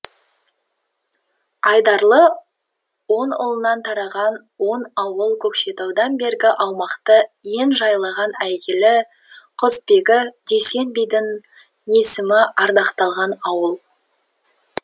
айдарлы он ұлынан тараған он ауыл көкшетаудан бергі аумақты ен жайлаған әйгілі құсбегі дүйсен бидің есімі ардақталған ауыл